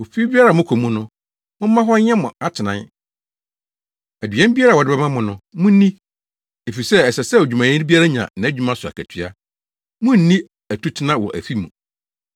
Ofi biara a mokɔ mu no, momma hɔ nyɛ mo atenae; aduan biara a wɔde bɛma mo no, munni efisɛ ɛsɛ sɛ odwumayɛni biara nya nʼadwumayɛ so akatua; munnni atutena wɔ afi mu.